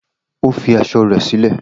O fi aṣọ rẹ silẹ